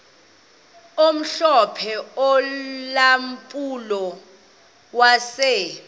omhlophe ulampulo wase